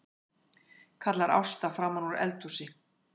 kallar Ásta framanúr eldhúsi.